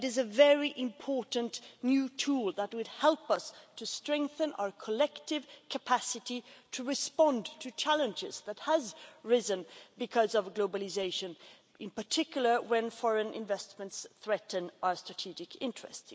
But it is a very important new tool, which would help us strengthen our collective capacity to respond to challenges that have arisen because of globalisation, in particular when foreign investments threaten our strategic interest.